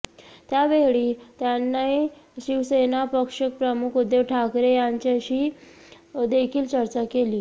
त्यावेळी त्यांनी शिवसेना पक्ष प्रमुख उद्धव ठाकरे यांच्याशी देखील चर्चा केली